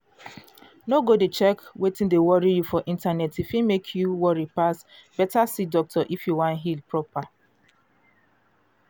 no go check wetin dey worry you for internet e fit mek you worry pass. better see doctor if you wan heal proper.